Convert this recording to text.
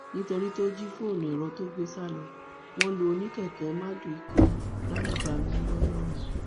nítorí tó jí fóònù ẹrọ tó gbé sá lọ wọn lu oníkèké mardukà lálùbami ńlọrọrìn